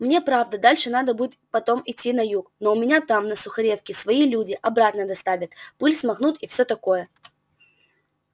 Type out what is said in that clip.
мне правда дальше надо будет потом идти на юг но у меня там на сухаревке свои люди обратно доставят пыль смахнут и всё такое